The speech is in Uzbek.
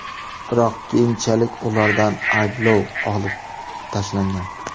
Biroq keyinchalik ulardan ayblov olib tashlangan.